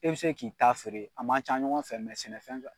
E bi se k'i ta feere a man ca ɲɔgɔn fɛ mɛ sɛnɛfɛn kan